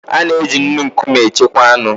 A na-eji nnu nkume echekwa anụ.